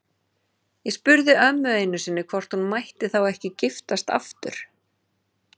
Ég spurði ömmu einu sinni hvort hún mætti þá ekki giftast aftur.